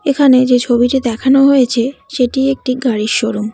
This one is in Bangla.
এখানে যে ছবিটি দেখানো হয়েছে সেটি একটি গাড়ির শোরুম ।